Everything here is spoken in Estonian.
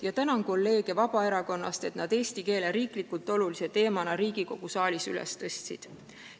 Ma tänan kolleege Vabaerakonnast, et nad eesti keele küsimuse riiklikult olulise teemana Riigikogu saalis üles tõstsid.